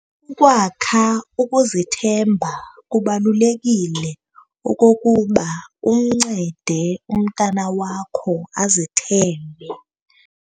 Ukwakha ukuzithemba Kubalulekile okokuba umncede umntwana wakho azithembe.